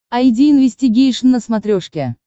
айди инвестигейшн на смотрешке